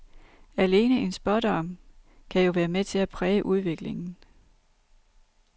Alene en spådom kan jo være med til at præge udviklingen.